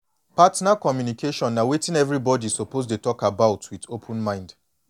partner communication na wetin everybody suppose go dey talk about with open mind